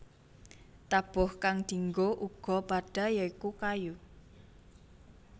Tabuh kang dinggo uga padha ya iku kayu